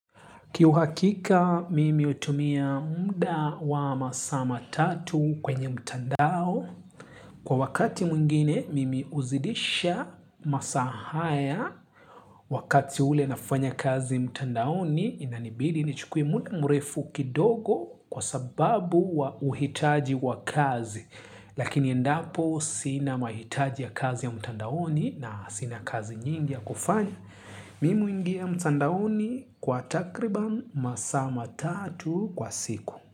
Kihuhakika, mimi hutumia muda wa masaa matatu kwenye mtandao. Kwa wakati mwingine, mimi huzidisha masaa haya. Wakati ule nafanya kazi mtandaoni, inanibidi nichukue muda mrefu kidogo kwa sababu wa uhitaji wa kazi. Lakini endapo, sina mahitaji ya kazi ya mtandaoni na sina kazi nyingi ya kufanya. Mimi huingia mtandaoni kwa takriban masaa matatu kwa siku.